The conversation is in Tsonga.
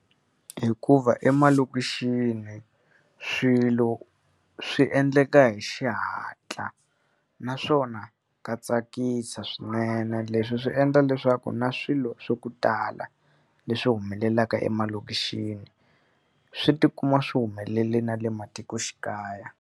Hikuva emalokixini swilo swi endleka hi xihatla, naswona ka tsakisa swinene. Leswi swi endla leswaku na swilo swa ku tala leswi humelelaka emalokixini, swi tikuma swi humelele na le matikoxikaya.